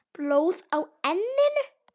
Blóð á enninu.